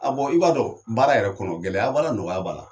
A bɔ, i b'a dɔn baara yɛrɛ kɔnɔ, gɛlɛya b'a la , nɔgɔya b' a la.